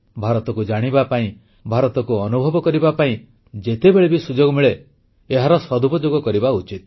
ଭାରତକୁ ଜାଣିବା ପାଇଁ ଭାରତକୁ ଅନୁଭବ କରିବା ପାଇଁ ଯେତେବେଳେ ବି ସୁଯୋଗ ମିଳେ ଏହାର ସଦୁପଯୋଗ କରିବା ଉଚିତ